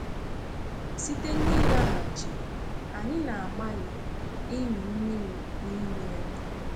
Site n’ịlaghachi, anyị na-agbalị ịmị mmiri n’ime ya.